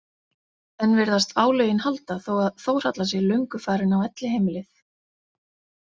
Enn virðast álögin halda þó að Þórhalla sé löngu farin á elliheimilið.